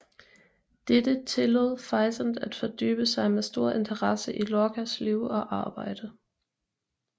Dette tillod Physant at fordybe sig med stor interesse i Lorcas liv og arbejde